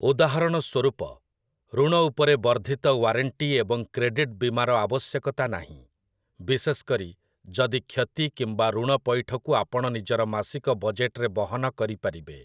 ଉଦାହରଣ ସ୍ୱରୂପ, ଋଣ ଉପରେ ବର୍ଦ୍ଧିତ ୱାରେଣ୍ଟି ଏବଂ କ୍ରେଡିଟ୍ ବୀମାର ଆବଶ୍ୟକତା ନାହିଁ, ବିଶେଷ କରି ଯଦି କ୍ଷତି କିମ୍ବା ଋଣ ପଇଠକୁ ଆପଣ ନିଜର ମାସିକ ବଜେଟ୍‌ରେ ବହନ କରିପାରିବେ ।